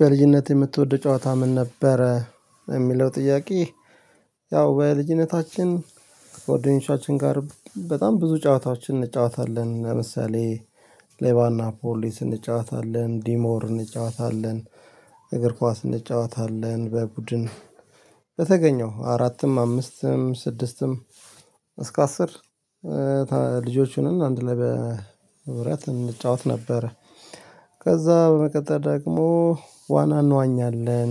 በልጅነት የምትወደው ጨዋታ ምን ነበረ? የሚለው ጥያቄ ያው በልጅነታችን ጓደኞቻችን ጋር በጣም ብዙ ጨዋታዎችን እንጫወታለን ለምሳሌ ሌባና ፖሊስ እንጫወታለን ዲሞር እንጫወታለን እግር ኳስ እንጫወታለን በቡድን በተገኘው አራትም አምስትም ስድስትም እስከ አስር ልጆቹንም አንድ ላይ በህብረት እንጫወት ነበር ከዛ በመቀጠል ደግሞ ዋና እንዋኛለን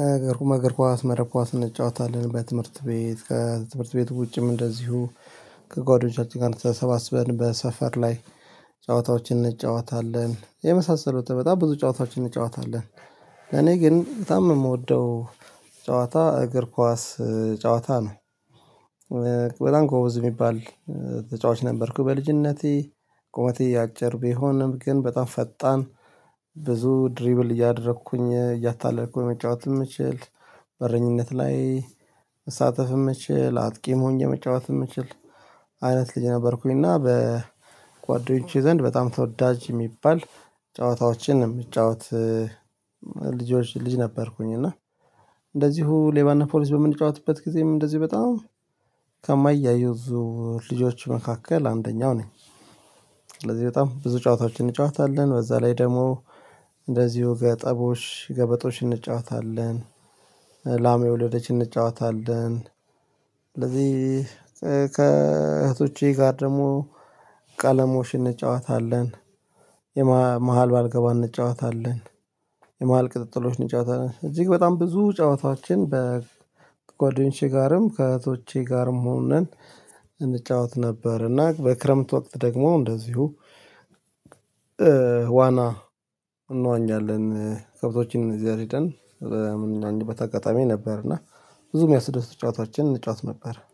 አገ ግርኳስ መረብ ኳስ እንጫወታለን በትምህርት ቤት ከትምህርት ቤት ውጪም እንደዚሁ ከጓደኞቻችን ጋር ተሰባስበን በሰፈር ላይ ጨዋታዎችን እንጨዋታለን የመሳሰሉት በጣም ብዙ ጨዋታዎችን እንጨዋታለን እኔ ግን በጣም የምወደው ጨዋታ እግር ኳስ ጨዋታ ነው በጣም ጎበዝ የሚባል ተጫዋች ነበርኩ በልጅነቴ ቆመቴ አጭር ቢሆንም ግን በጣም ፈጣን ብዙ ድሪብል እያደረኩኝ እያታለልኩኝ መጫወት የምችል በረኝነት ላይ መሳተፍ የምችል አጥቂም ሆኘ መጫወት የምችል አይነት ልጅ ነበርኩኝ እና በጓደኞቼ ዘንድ በጣም ተወዳጅ የሚባል ጨዋታዎችን የምጫወት ልጆች ልጅ ነበርኩኝ እና እንደዚሁ ሌባና ፖሊስ በምንጫወትበት ጊዜም እንደዚሁ በጣም ከማይያዙ ልጆች መካከል አንደኛው ነኝ ስለዚህ በጣም ብዙ ጨዋታዎችን እንጫወታለን በዛ ላይ ደግሞ እንደዚሁ ገጠቦች ገበጦች እንጫወታለን ላሜ ወለደች እንጫወታለን ስለዚህ ከእህቶቼ ጋር ደግሞ ቀለሞሽን እንጫወታለን የመሃል ባልገባ እንጫወታለን የመሃል ቅጥጥሎችን ጫወታ ነን እጅግ በጣም ብዙ ጫወታዎችን በጓደኞቼ ጋርም ከእህቶቼ ጋርም ሆነን እንጫወት ነበር እና በክረምት ወቅት ደግሞ እንደዚሁ ዋና እንዋኛለን ከብቶችን እዚያ ሄደን በምን አንድ በታጋጣሚ ነበር እና ብዙም ያስደስት ጫታችንን ጫት ነበር